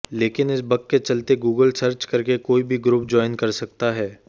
लेकिन इस बग के चलते गूगल सर्च करके कोई भी ग्रुप ज्वाइन कर सकता है